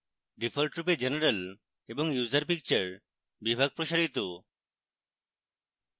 ডিফল্টরূপে general এবং user picture বিভাগ প্রসারিত